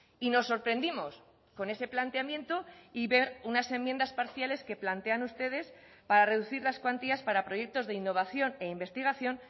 y nos sorprendimos con ese planteamiento y ver unas enmiendas parciales que plantean ustedes para reducir las cuantías para proyectos de innovación e investigación